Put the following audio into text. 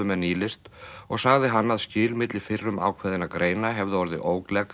með nýlist og sagði hann að skil milli fyrrum ákveðinna greina hefðu orðið